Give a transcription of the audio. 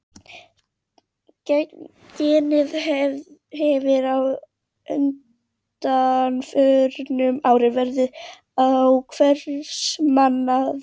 Genið hefur á undanförnum árum verið á hvers manns vörum.